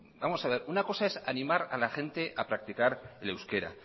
vamos a ver una cosa es animar a la gente a practicar el euskera